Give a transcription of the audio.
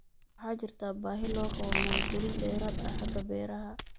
Waxaa jirta baahi loo qabo maalgelin dheeraad ah xagga beeraha